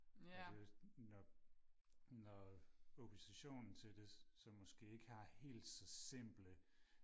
og det er jo nok når oppositionen til det så måske ikke har helt så simple